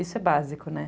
Isso é básico, né?